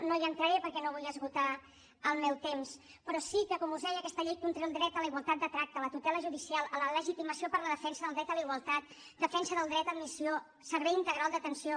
no hi entraré perquè no vull esgotar el meu temps però sí que com us deia aquesta llei conté el dret a la igualtat de tracte a la tutela judicial a la legitimació per a la defensa del dret a la igualtat defensa del dret d’admissió servei integral d’atenció